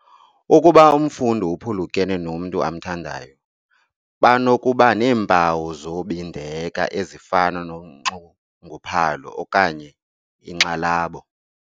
"Ukuba umfundi uphulukene nomntu amthandayo, banokuba neempawu zobindeka ezifana nonxunguphalo okanye inkxalabo."